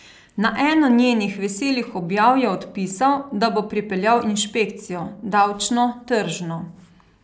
Na eno njenih veselih objav je odpisal, da bo pripeljal inšpekcijo: 'Davčno, tržno.